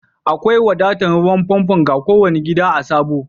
Akwai wadatan ruwan pompo ga ko wani gida a'Sabo.